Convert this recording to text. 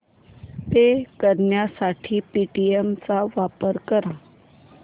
पे करण्यासाठी पेटीएम चा वापर कर